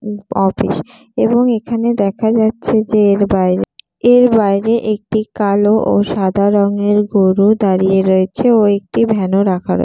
office এবং এখানে দেখা যাচ্ছে যে এর বাইরে এর বাইরে একটি কালো ও সাদা রংয়ের গরু দাঁড়িয়ে রয়েছে ও একটি ভ্যান ও রাখা রয়ে--